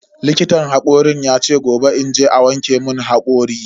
Likitan hakorin yace in je gobe a wanke mun hakori.